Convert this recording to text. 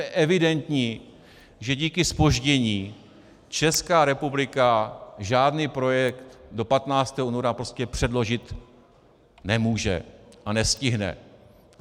Je evidentní, že díky zpoždění Česká republika žádný projekt do 15. února prostě předložit nemůže a nestihne.